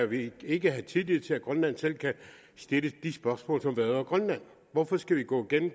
vi ikke have tillid til at grønland selv kan stille de spørgsmål som vedrører grønland hvorfor skal vi gå gennem